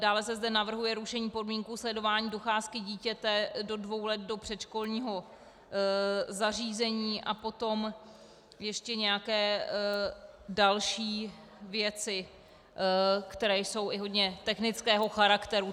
Dále se zde navrhuje rušení podmínky sledování docházky dítěte do dvou let do předškolního zařízení a potom ještě nějaké další věci, které jsou i hodně technického charakteru.